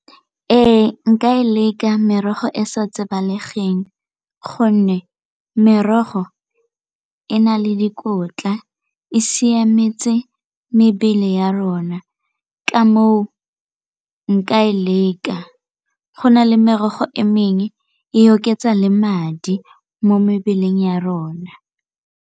Ee, nka e leka merogo e sa tsebalesegeng gonne merogo e na le dikotla e siametse mebele le ya rona ka moo nka leka, go na le merogo e mengwe e oketsa le madi mo mebeleng ya rona.